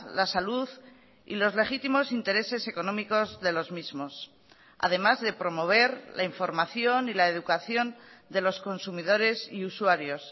la salud y los legítimos intereses económicos de los mismos además de promover la información y la educación de los consumidores y usuarios